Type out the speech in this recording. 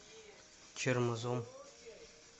чермозом